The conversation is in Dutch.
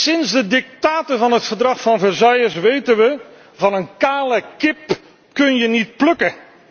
Sinds de dictaten van het Verdrag van Versailles weten we van een kale kip kun je niet plukken.